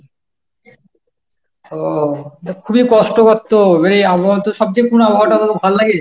ও তো খুবই কষ্টকর তো এবারে আবহাওয়া তো সবচেয়ে পুরো আবহাওয়াটা তোকে ভাল্লাগে?